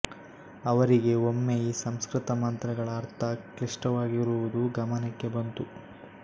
ಅವರಿಗೆ ಒಮ್ಮೆ ಈ ಸಂಸ್ಕೃತಮಂತ್ರಗಳ ಅರ್ಥ ಕ್ಲಿಷ್ಟವಾಗಿರುವುದು ಗಮನಕ್ಕೆ ಬಂತು